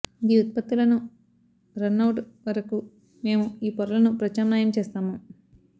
ఈ ఉత్పత్తులను రన్నవుట్ వరకు మేము ఈ పొరలను ప్రత్యామ్నాయం చేస్తాము